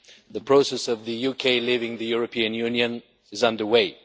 The process of the UK leaving the European Union is under way.